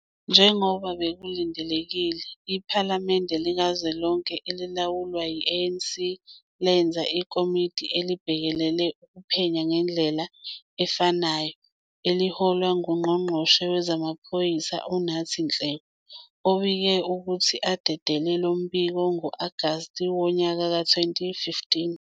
Njengoba bekulindelekile, iPhalamende likazwelonke elilawulwa yi-ANC lenza ikomidi elibhekelele ukuphenya ngendlela efanayo eliholwa nguNgqongqoshe WezamaPhoyisa uNathi Nhleko, obike ukuthi adedele lo mbiko ngo-Agasti wonyaka ka-2015.